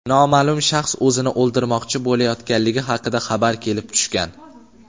noma’lum shaxs o‘zini o‘ldirmoqchi bo‘layotganligi haqida xabar kelib tushgan.